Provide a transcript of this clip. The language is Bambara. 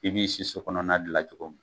I b'i si so kɔnɔna dilan cogo mun